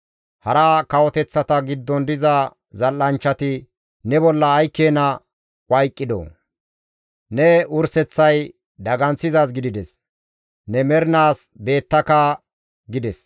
Hara kawoteththata giddon diza zal7anchchati ne bolla ay keena wayqidoo! ne wurseththay daganththizaaz gidides; ne mernaas beettaka» gides.